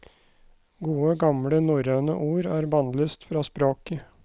Gode, gamle norrønne ord er bannlyst fra språket.